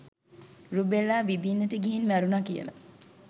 රුබෙල්ලා විදින්නට ගිහින් මැරුණා කියලා.